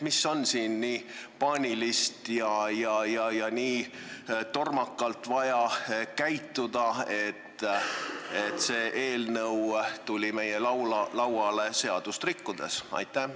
Miks on siin nii paaniliselt ja nii tormakalt vaja käituda, et see eelnõu tuli meie laudadele seadust rikkudes?